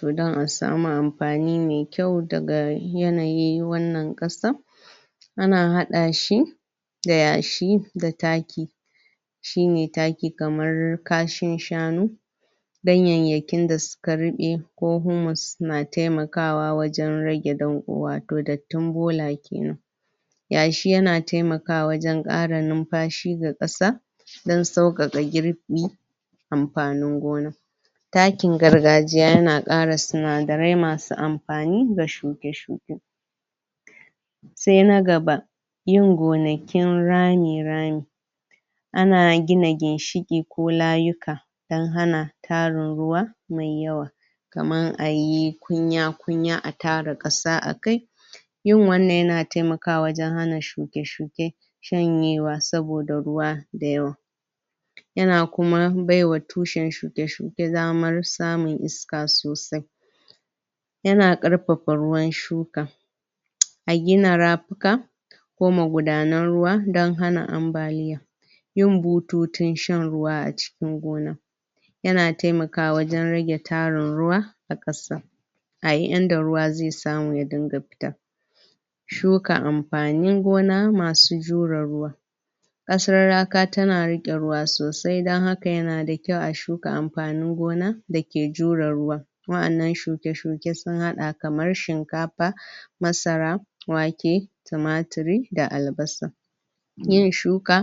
To don a samu amfani mai kyau daga yanayi wannan ƙasa, ana haɗa shi da yashi da taki, shine taki kamar kashin shanu ganyayyakin da suka ruɓe ko humors suna taimakawa wajen rage danƙo wato dattin bola kenan, yashi ya na taimakawa wajen ƙara numfashi ga ƙasa don sauƙaƙa girbi amfanin gona, takin gargajiya ya na ƙara sinadarai masu amfani ga shuke-shuke, sai na gaba: Yin gonakin rami rami, ana gina ginshiƙi ko layuka don hana tarin ruwa mai yawa kaman ayi kunya-kunya a tara ƙasa a kai, yin wannan ya na taimakawa wajen hana shuke-shuke shanyewa saboda ruwa da yawa, yana kuma bai wa tushen shuke-shuke damar samun iska sosai, ya na ƙarfafa ruwan shuka a gina rafuka ko magudanan ruwa don hana ambaliya, yin bututun shan ruwa a cikin gona ya na taimakawa wajen rage tarin ruwa a ƙasa, a yi inda ruwa zai samu ya dinga fita, shuka amfanin gona masu jure ruwa, ƙasar laka ta na riƙe ruwa sosai don haka ya na da kyau a shuka amfanin gona da ke jure ruwa, waɗannan suke-shuke sun haɗa kamar shinkafa, masara, wake, tumatiri da albasa, miye shuka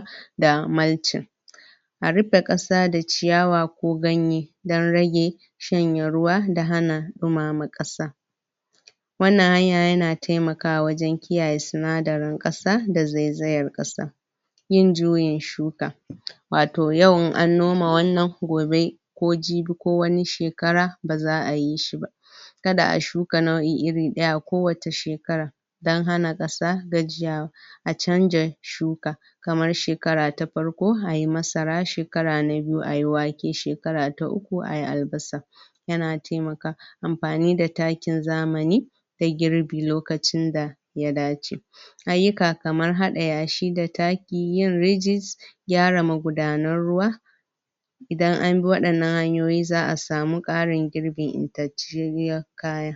a riƙe ƙasa da ciyawa ko ganye don rage shanye ruwa da hana ɗumama ƙasa, wannan hanya ya na taimakawa wajen kiyaye sinadarin ƙasa da zaizayar ƙasa, yin jyuin shuka wato yau Iin an noma wannan gobe ko jibi ko wani shekara ba za'a yi shi ba, kada a shuka nau'i iri ɗaya kowace shekara don hana ƙasa gajiyawa, a canja shuka kamar shekara ta farko ai masara, shekara na biyu ai wake, shekara ta uku ai albasa, ya na taimaka amfani da takin zamani da girbi lokacin da ya dace, ayyuka kamar haɗa yashi da taki yin rijis... gyara magudanan ruwa, idan anbi waɗannan hanyoyi za'a samu ƙarin girbi intacceriyar kaya.